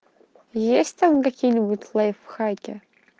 есть там какие-нибудь лайфхаки